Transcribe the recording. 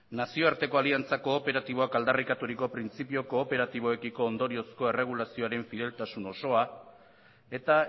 nazioarteko aliantza kooperatiboak aldarrikaturiko printzipio kooperatiboekiko ondoriozko erregulazioaren fideltasun osoa eta